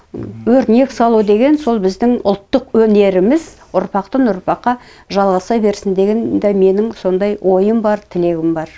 өрнек салу деген сол біздің ұлттық өнеріміз ұрпақтан ұрпаққа жалғаса берсін деген де менің сондай ойым бар тілегім бар